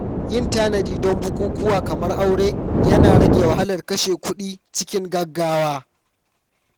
Yin tanadi don bukukuwa kamar aure yana rage wahalar kashe kuɗi cikin gaggawa.